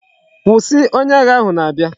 Kwusi! onye agha ahu na abia!